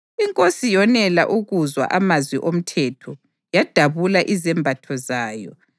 Inkosi yonela ukuzwa amazwi oMthetho, yadabula izembatho zayo